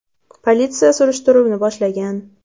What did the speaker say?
Politsiya surishtiruvni boshlagan.